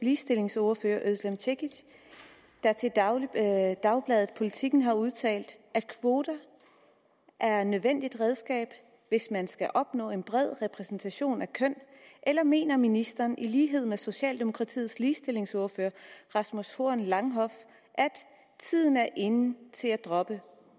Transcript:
ligestillingsordfører özlem cekic der til dagbladet dagbladet politiken har udtalt at kvoter er et nødvendigt redskab hvis man skal opnå en bred repræsentation af køn eller mener ministeren i lighed med socialdemokratiets ligestillingsordfører rasmus horn langhoff at tiden er inde til at droppe